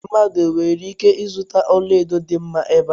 Mmadụ o nwere ike ịzụta ọla edo dị mma ebe a?